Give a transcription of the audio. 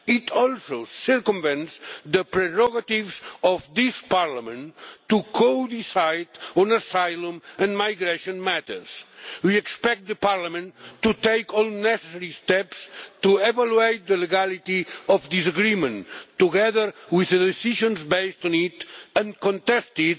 It also circumvents the prerogatives of this Parliament to co decide on asylum and migration matters. We expect Parliament to take all necessary steps to evaluate the legality of this agreement, together with the decisions based on it, and contest it